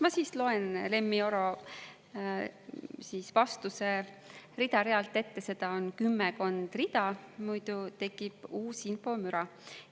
Ma siis loen Lemmi Oro vastuse rida-realt ette, seda on kümmekond rida, muidu tekib uus infomüra.